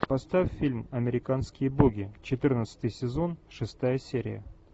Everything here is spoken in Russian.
поставь фильм американские боги четырнадцатый сезон шестая серия